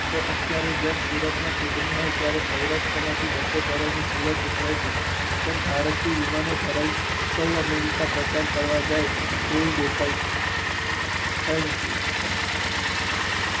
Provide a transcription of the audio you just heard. તો અત્યરે જેમ સુરતમાં ચૂંટણી હોય ત્યરે સૌરાષ્ટ્ર માંથી બસો કરોડ ની સુલે સુતરાય છે તેમ ભારતીય વિમાનો ધરાવતી સૌ અને પ્રચાર કરવા જાય તેવું દેખાય છે. Thank you